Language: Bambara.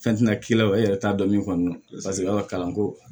Fɛn ti na k'i la e yɛrɛ t'a dɔn min kɔni don lasigira ka kalan ko